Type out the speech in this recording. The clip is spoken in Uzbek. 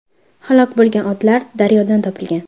Halok bo‘lgan otlar daryodan topilgan.